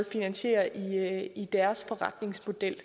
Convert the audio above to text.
finansiere i deres forretningsmodel